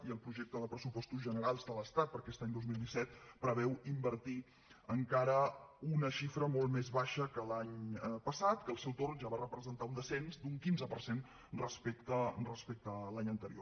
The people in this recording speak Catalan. i el projecte de pressupostos generals de l’estat per a aquest any dos mil disset preveu invertir encara una xifra molt més baixa que l’any passat que al seu torn ja va representar un descens d’un quinze per cent respecte a l’any anterior